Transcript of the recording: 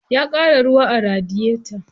Ya ƙara ruwa a radiyeta.